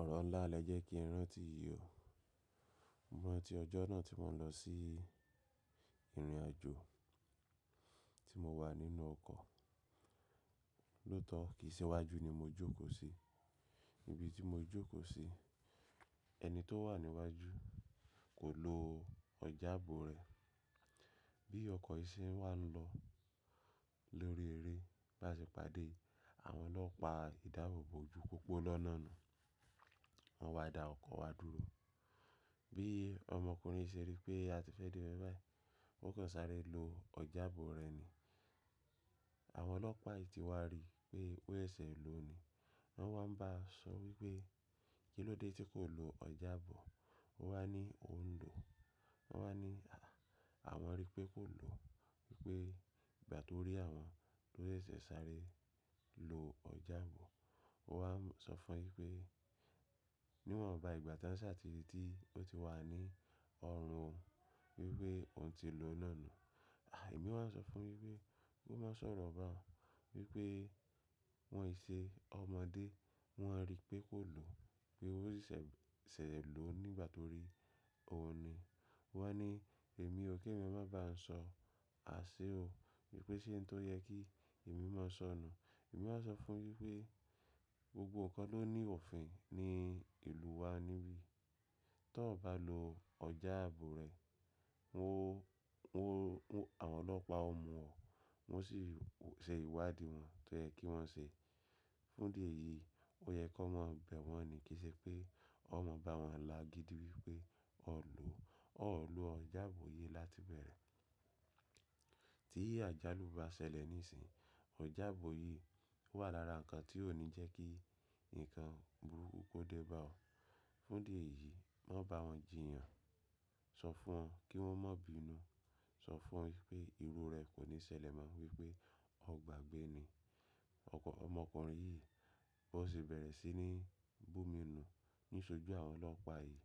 Ọ̀rọ̀ ńlá lẹ jẹ́ kí n rántí yìí o. Mo rántí ọjọ́ náà tí mo n lọ sí ìrìnàjò tí mo wà nínú ọkọ̀. Lótọ̀ kìí ṣe iwájú ni mo jókòó sí. Níbi tí mo jókòó sí, ẹni tó wà níwájú kò lo ọjàbọ̀ rẹ̀. Bí ọkọ̀ yìí ṣe ń wá lọ lórí eré, báṣepàdé àwọn ọlọ́pàá ìdáàbò bo ojú pópó lọ́nà náà. Wọ́n wá da ọkọ̀ wa dúró. Bí ọmọkùnrin ṣe rí pé a ti fẹ́ de ibè báyi, ó kàn sáré lo ọjàbọ̀ rẹ̀ ni. Àwọn ọlọ́pàá yìí ti wá rí pé ó ṣẹ̀ ló ni. Wọ́n wá ń ba sọ wípé “kí ló dé tí kò lo ọjàbọ̀?” Ó wá ní “oùn ò ń lò”. Wọ́n wá ní “àwọn rí pé kò lò, wípé ìgbà tó rí àwọn ló ṣẹ̀ sáré lo ọjàbọ̀”. Ó wá sọ fún un wípé “níwọn ba ìgbà tí wón sà ti rí tí ó ti wà ní ọrùn oùn wípé òún ti lò náà ni”. Àh èmi wá sọ fún un wípé “kó má sọ̀rọ̀ bá a, wípé wọn ò ṣe ọmọdé, wọ́n á rí pé kò lò, pé ó ṣẹ̀ lò nígbà tó rí won ni”. Ó wá ní “èmi ò kí ẹ mi má bá a sọ àsé o, wípé ṣé nì tó yẹ kí èmi má sọ nùun?” Èmi wá sọ fún un wípé “gbogbo nǹkan ló ní ọ̀fìn ní ìlú wa níbí. Tọ bá lo ọjàbọ̀ rẹ, àwọn ọlọ́pàá ó mú ọ. Wọ́n sì ṣe ìwádìí wọn tó yẹ kí wọ́n ṣe. Fún di èyí ó yẹ kó má bẹ̀ wọ́n ni. Kì í ṣe pé ó máa ba wọn là gidi wípé o ò lò ọjàbọ̀ yìí láti bẹ̀rẹ̀. Tí àjálù bá ṣẹlẹ̀ níìsín, ọjàbọ̀ yìí wà lára nǹkan tí ó ní jẹ́ kí nǹkan burúkú kó dé bá ọ. Fún di èyí má bá wọn jìyàn. Sọ fún wọn kí wọ́n má bínu. Sọ fún wọn wípé ìrù rẹ̀ kò ní ṣẹlẹ̀ mọ wípé o gbàgbé ni.” Ọmọkùnrin yìí bó ṣe bẹ̀rẹ̀ sí ní bù mi nù níṣojú àwọn ọlọ́pàá yìí.